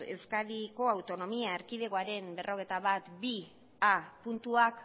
euskadiko autonomia erkidegoaren berrogeita batbigarrena puntuak